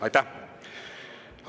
Aitäh!